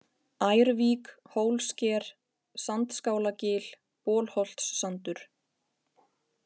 Ærvík, Hólsker, Sandskálagil, Bolholtssandur